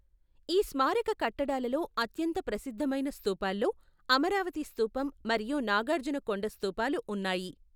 ఈ స్మారక కట్టడాలలో అత్యంత ప్రసిద్ధమైన స్థూపాల్లో, అమరావతి స్థూపం మరియు నాగార్జునకొండ స్థూపాలు ఉన్నాయి.